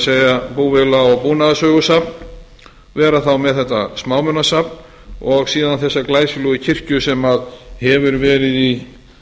það er búvéla og búnaðarsögusafn vera þá með þetta smámunasafn og síðan þessa glæsilegu kirkju sem hefur verið í